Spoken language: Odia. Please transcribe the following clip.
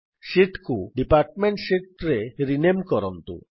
ଶୀଟ୍ କୁ ଡିପାର୍ଟମେଣ୍ଟ ଶୀତ୍ ରେ ରିନେମ୍ କରନ୍ତୁ